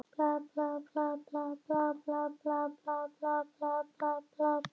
Þetta berum við fram með hrísgrjónum eða kartöflum að okkar sið.